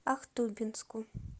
ахтубинску